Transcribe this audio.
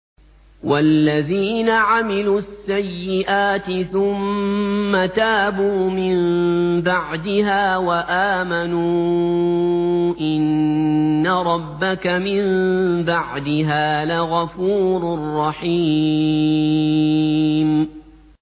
وَالَّذِينَ عَمِلُوا السَّيِّئَاتِ ثُمَّ تَابُوا مِن بَعْدِهَا وَآمَنُوا إِنَّ رَبَّكَ مِن بَعْدِهَا لَغَفُورٌ رَّحِيمٌ